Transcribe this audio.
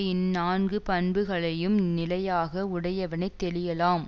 இந் நான்கு பண்புகளையும் நிலையாக உடையவனை தெளியலாம்